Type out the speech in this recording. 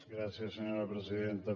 gràcies senyora presidenta